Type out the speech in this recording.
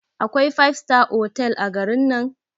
Akwai five star otal a garin nan?